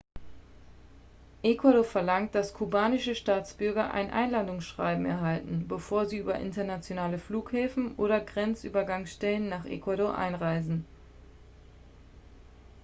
ecuador verlangt dass kubanische staatsbürger ein einladungsschreiben erhalten bevor sie über internationale flughäfen oder grenzübergangsstellen nach ecuador einreisen